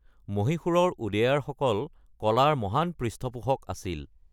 মহীশূৰৰ ওডেয়াৰসকল কলাৰ মহান পৃষ্ঠপোষক আছিল।